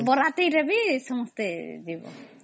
ବିବାହ ଶୋଭାଯାତ୍ରା ରେ ବି ଅମ୍